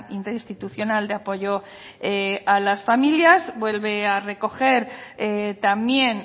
interinstitucional de apoyo a las familias vuelve a recoger también